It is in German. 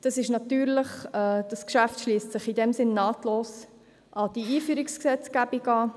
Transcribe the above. Dieses Geschäft schliesst in diesem Sinn nahtlos an diese Einführungsgesetzgebung an.